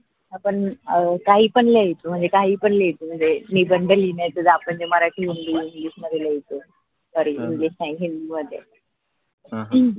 आपण काही पण लिहायेच म्हनजे काही पण लिहायेच म्हनजे निबंध जा म्हनजे मराठी हिन्दी इंग्लिश मध्ये लिहायेच sorry इंग्लिश नाही हिन्दी मध्ये ह